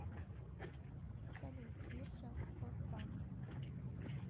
салют биржа росбанк